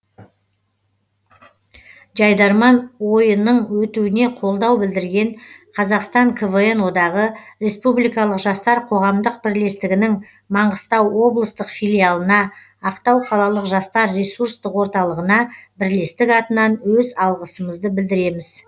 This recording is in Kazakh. жайдарман ойының өтуіне қолдау білдірген қазақстан квн одағы республикалық жастар қоғамдық бірлестігінің маңғыстау облыстық филиалына ақтау қалалық жастар ресурстық орталығына бірлістік атынан өз алғысымызды білдіреміз